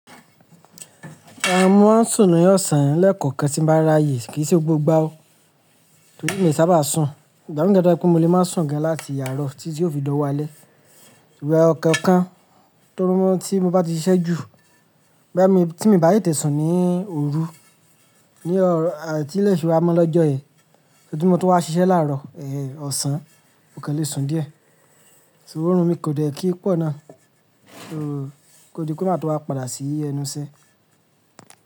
A mú sùn ní ọ̀sán lẹ́kọ̀ọ̀kan tí ń bá rá yè, kìí ṣe gbogbo igba o. Torí mi sábà sùn, ìgbà mí dàgbà pé mo lè máa sùn gan láti àárọ̀ títí ó fi lọ́ wá alẹ́. Ṣùgbọ́n ọ̀kọ̀ọ̀kan, torí mọ́ tí mo bá ti ṣiṣẹ́ jù, bá tí mi bá yè tẹ̀ sùn ní òru ní ọ̀rọ̀ àti léṣe wa mó lọ́jọ́ ẹ, títí mo tún wá ṣiṣẹ́ làárọ̀, ẹ, ọ̀sán, ọ̀kẹ́ lè sùn díẹ̀. Ṣùgbọ́n irun mi kò dẹ̀ kí pọ̀ náà, kò di pe màa tún wá padà sí ẹnu iṣẹ́.